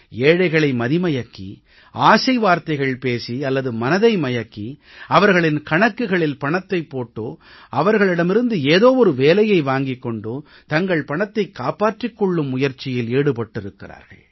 ஏழைகளை மதி மயக்கி ஆசை வார்த்தைகள் பேசி அல்லது மனதை மயக்கி அவர்களின் கணக்குகளில் பணத்தைப் போட்டோ அவர்களிடமிருந்து ஏதோ ஒரு வேலையை வாங்கிக் கொண்டோ தங்கள் பணத்தைக் காப்பாற்றிக் கொள்ளும் முயற்சியில் ஈடுபட்டிருக்கிறார்கள்